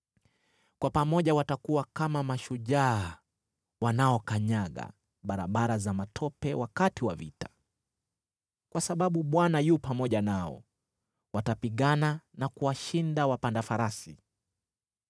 Kwa pamoja watakuwa kama mashujaa wanaokanyaga barabara za matope wakati wa vita. Kwa sababu Bwana yu pamoja nao, watapigana na kuwashinda wapanda farasi.